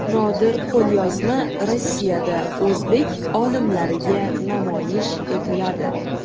Nodir qo‘lyozma Rossiyada o‘zbek olimlariga namoyish etiladi.